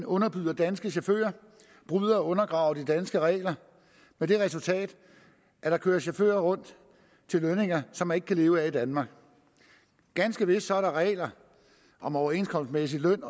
underbyder danske chauffører og bryder og undergraver de danske regler med det resultat at der kører chauffører rundt til lønninger som man ikke kan leve af i danmark ganske vist er der regler om overenskomstmæssig løn